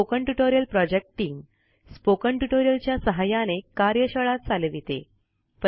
spoken tutorial project team spoken tutorial च्या सहाय्याने कार्यशाळा चालविते